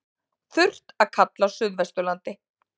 Þurrt að kalla á suðvesturlandi